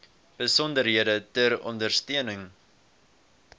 besonderhede ter ondersteuning